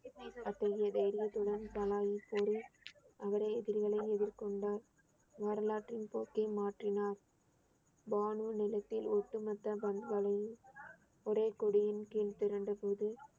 அத்தகைய தைரியத்துடன் கூறி அவரே எதிரிகளை எதிர்கொண்டார் வரலாற்றின் போக்கை மாற்றினார் பானு நிலத்தில் ஒட்டுமொத்த ஒரே கொடியின் கீழ் திரண்டபோது